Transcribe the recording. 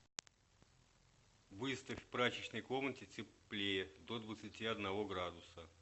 выставь в прачечной комнате теплее до двадцати одного градуса